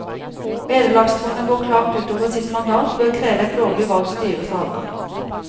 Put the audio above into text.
Vederlagsfondet går klart ut over sitt mandat ved å kreve et lovlig valgt styres avgang.